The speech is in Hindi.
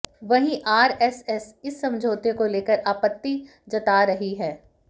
वहीं आरएसएस इस समझौते को लेकर आपत्ति जता रही है